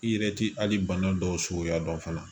I yɛrɛ ti hali bana dɔw so ya dɔn fana